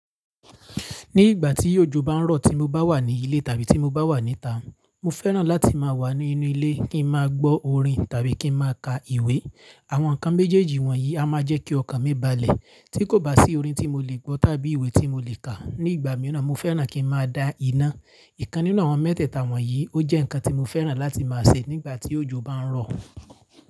Ní ìgbà tí òjò bá ń rọ̀ tí mo bá wà ní ilé tàbí tí mo bá wà níta, mo fẹ́ràn láti má a wà nínú ilé kí n máa gbọ́ orin tàbí kí n máa ka ìwé. Àwọn nǹkan méjèèjì wọ̀n yí a máa jẹ́ kí ọkàn mi balẹ̀. Tí kò bá sí orin tí mo lè gbọ́ tàbí ìwé tí mo lè kà. Ní ìgbà míràn, mo fẹ́ràn kí n máa dá iná. Nǹkan nínú àwọn mẹ́tẹ̀ẹ̀ta wọ̀n yí, ó jẹ́ nǹkan tí mo fẹ́ràn láti má a se nígbà tí òjò bá ń rọ̀.